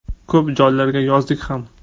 Ko‘p joylarga yozdik ham.